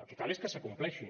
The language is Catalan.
el que cal és que s’acompleixi